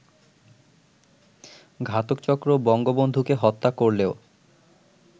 ঘাতকচক্র বঙ্গবন্ধুকে হত্যা করলেও